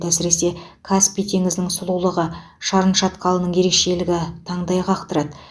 әсіресе каспий теңізінің сұлулығы шарын шатқалының ерекшелігі таңдай қақтырады